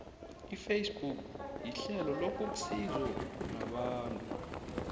ifacebook yihlelo lokuxizo nabantu